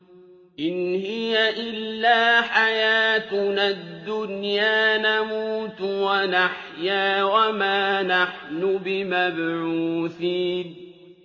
إِنْ هِيَ إِلَّا حَيَاتُنَا الدُّنْيَا نَمُوتُ وَنَحْيَا وَمَا نَحْنُ بِمَبْعُوثِينَ